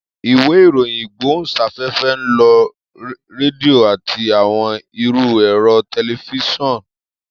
Iwe iroyin igbohunsafefe nlo redio ati awọn iru ẹrọ tẹlifisiọnu.